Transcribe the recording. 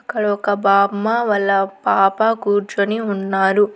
అక్కడ ఒక బామ్మ వాళ్ళ పాప కూర్చొని ఉన్నారు.